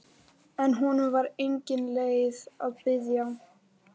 En honum var engin leið að biðja.